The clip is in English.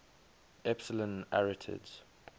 epsilon arietids